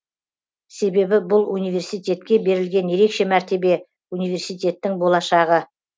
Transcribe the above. себебі бұл университетке берілген ерекше мәртебе университеттің болашағы